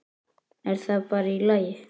Er það bara í lagi?